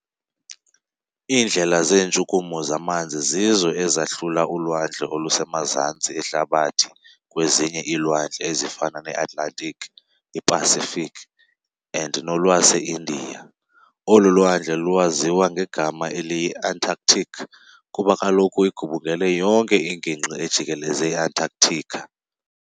Iindlela zeentshukumo zamanzi zizo ezahlula Ulwandle olusemaZantsi ehlabathi kwezinye iilwandle ezifana ne-Atlantic, i-Pacific and nolwase-India. Olu lwandle lukwaziya ngegama elithi yi-Antarctic, kuba kaloku igubungele yonke ingingqi ejikeleze i- Antarctica.